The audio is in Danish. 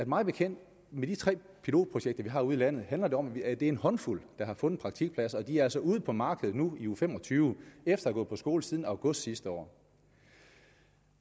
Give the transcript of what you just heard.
mig bekendt med de tre pilotprojekter vi har ude i landet handler om at det er en håndfuld der har fundet praktikpladser og de er altså ude på markedet nu i uge fem og tyve efter at på skole siden august sidste år